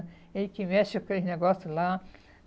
É ele que mexe com aqueles negócios lá.